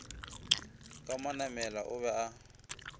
ka manamela o be a